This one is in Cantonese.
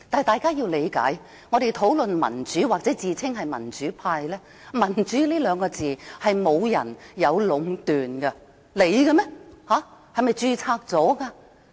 大家要理解，我們討論民主或自稱民主派，"民主"這兩個字無人可以壟斷，是屬於任何人的嗎？